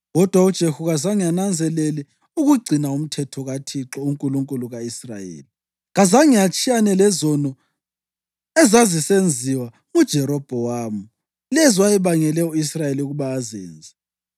Kodwa uJehu kazange ananzelele ukugcina umthetho kaThixo, uNkulunkulu ka-Israyeli, ngenhliziyo yakhe yonke. Kazange atshiyane lezono ezazisenziwa nguJerobhowamu, lezo ayebangele u-Israyeli ukuba azenze.